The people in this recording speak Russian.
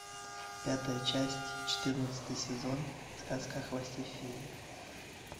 пятая часть четырнадцатый сезон сказка о хвосте феи